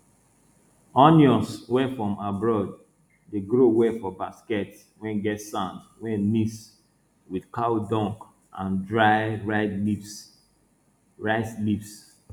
onions wey from abroad dey grow well for basket wey get sand wey mix with cow dung and dry riy leaves rice leaves